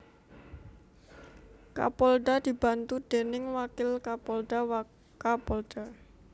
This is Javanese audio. Kapolda dibantu déning Wakil Kapolda Wakapolda